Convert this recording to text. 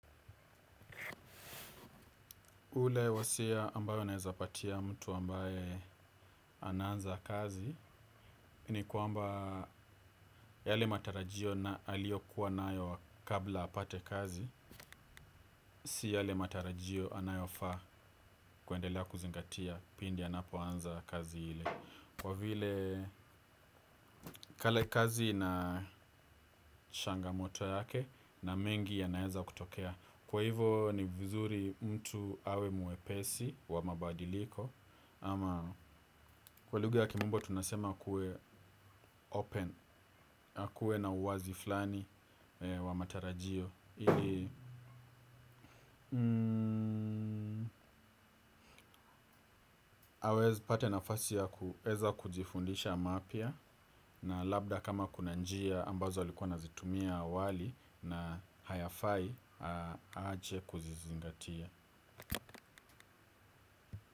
Ule wasia ambayo naeza patia mtu ambaye. Anaanza kazi, ni kwamba yale matarajio na aliokua nayo kabla apate kazi, si yale matarajio anayofaa kuendelea kuzingatia pindi anapoanza kazi ile. Kwa vile kale kazi na shangamoto yake na mengi yanaeza kutokea. Kwa hivo, ni vizuri mtu awe mwepesi wa mabadiliko. Ama, kwa lugha ya kimombo tunasema kue open. Kuwe na uwazi flani wa matarajio ili awez pate nafasi ya kueza kujifundisha mapya. Na labda kama kuna njia ambazo alikuwa anazitumia awali na hayafai, aje kuzizingatia.